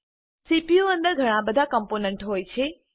CPU અંદર ઘણા બધા કમ્પોનન્ટ હોય છે